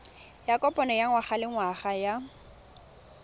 ya kopano ya ngwagalengwaga ya